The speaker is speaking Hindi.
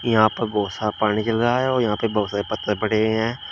यहां पर बोहोत सारा पानी गिर रहा है और यहां पे बोहोत सारे पत्थर पड़े हुए हैं।